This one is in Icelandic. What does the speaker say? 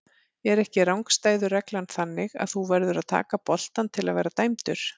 Er ekki rangstæðu reglan þannig að þú verður að taka boltann til að vera dæmdur?